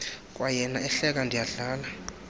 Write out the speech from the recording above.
kwayena ehleka ndiyadlala